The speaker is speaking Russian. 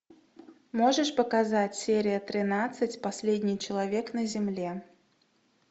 можешь показать серия тринадцать последний человек на земле